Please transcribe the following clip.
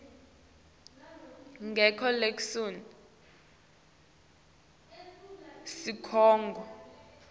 ngakoke leso sikhungo